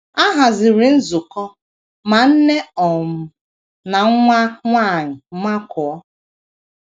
A haziri nzukọ, ma nne um na nwa nwanyị makụọ.